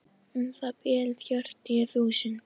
Um það bil fjörutíu þúsund.